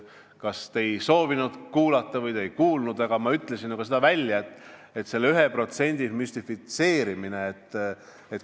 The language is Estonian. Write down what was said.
Kas te ei soovinud kuulata või te ei kuulnud, aga ma ütlesin ju välja arvamuse selle 1% müstifitseerimise kohta.